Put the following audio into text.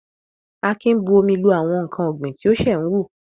Akin bu omi lu àwọn ǹkan ọ̀gbìn tí ó ṣe ń wù.